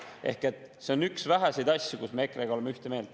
Ehk see on üks väheseid asju, milles me EKRE-ga oleme ühte meelt.